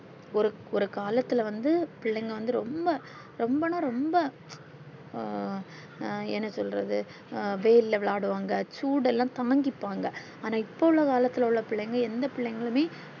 ஒரு ஒரு காலத்துள்ள வந்து பிள்ளைங்க வந்து ரொம்ப ரொம்பன்னா ரொம்ப அ என்ன சொல்றது அஹ் வெயில் விளையாடுவாங்க சூடெல்லாம் தாங்கிப்பாங்க ஆனா இப்போ உள்ள காலத்துள்ள உள்ள பிள்ளைங்க எந்த பிள்ளைகளுமே